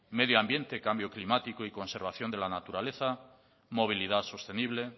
medioambiente cambio climático y conservación de la naturaleza movilidad sostenible